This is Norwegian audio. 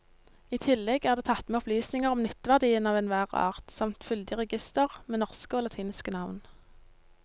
I tillegg er det tatt med opplysninger om nytteverdien av enhver art samt fyldig reigister med norske og latinske navn.